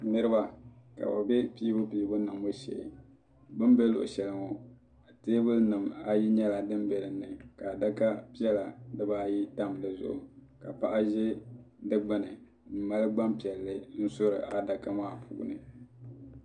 Niriba ka bi bɛ piibu piibu niŋbu shee bin bɛ luɣushɛli ŋɔ teebuli nim ayi nyɛla din bɛ din ni ka adaka piɛla di baa ayi tam di zuɣu ka paɣa ʒɛ di gbuni n mali gbaŋ piɛlli n suri adaka maa puuni.